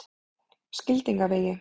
Skildingavegi